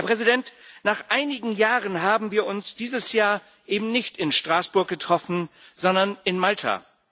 Herr Präsident, nach einigen Jahren haben wir uns dieses Jahr eben nicht in Straßburg getroffen, sondern in Malta.